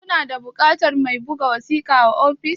Ku na da buƙatar mai buga wasiƙa a office?